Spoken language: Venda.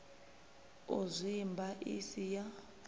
u zwimba i si ya